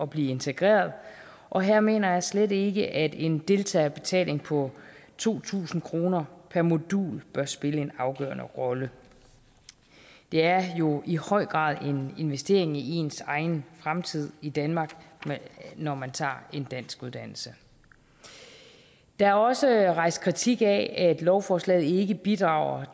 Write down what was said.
blive integreret og her mener jeg slet ikke at en deltagerbetaling på to tusind kroner per modul bør spille en afgørende rolle det er jo i høj grad en investering i ens egen fremtid i danmark når man tager en danskuddannelse der er også rejst kritik af at lovforslaget ikke bidrager